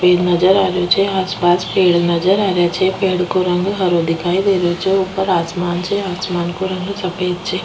पेड़ नजर आ रेहो छे आस पास पेड़ नजर आ रेहा छे पेड़ को रंग हरो दिखाई दे रेहो छे ऊपर आसमान छे आसमान को रंग सफ़ेद छे।